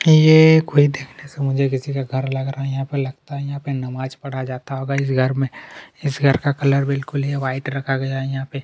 ये कोई देखने से मुझे किसी का घर लग रहा है यहाँ पे लगता है यहाँ पे नमाज पढ़ा जाता होगा इस घर में इस घर का कलर बिल्कुल व्हाइट रखा गया है यहाँ पे --